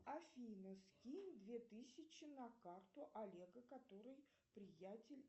афина скинь две тысячи на карту олега который приятель